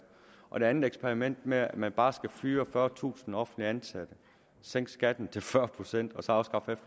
og det andet eksperiment med at man bare skal fyre fyrretusind offentligt ansatte sænke skatten til fyrre procent og så afskaffe